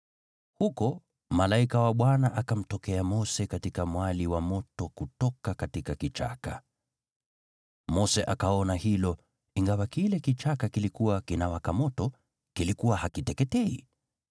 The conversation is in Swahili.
Huko malaika wa Bwana akamtokea Mose katika mwali wa moto kutoka kichakani. Mose akaona kwamba ingawa kile kichaka kilikuwa kinawaka moto, kilikuwa hakiteketei.